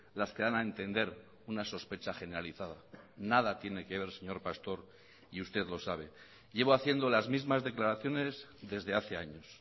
las que dan a entender una sospecha generalizada nada tiene que ver señor pastor y usted lo sabe llevo haciendo las mismas declaraciones desde hace años